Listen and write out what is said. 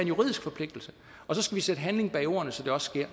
juridisk forpligtelse og så skal vi sætte handling bag ordene så det også sker